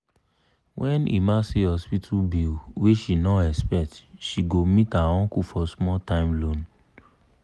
when emma see hospital bill wey she nor expect she go meet her uncle for small time loan.